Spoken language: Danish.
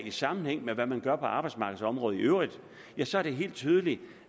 i sammenhæng med hvad man gør på arbejdsmarkedsområdet i øvrigt så er det helt tydeligt